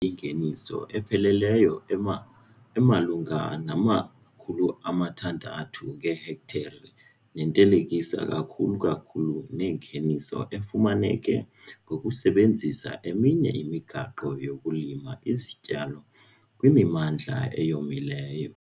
ingeniso epheleleyo ema emalunga nama-R26 000 ngehektare nethelekiseka kakuhle kakhulu nengeniso efumaneke ngokusebenzisa eminye imigaqo yokulima izityalo kwimimandla eyomileyo.